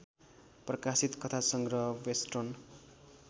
प्रकाशित कथासंग्रह बेस्टर्न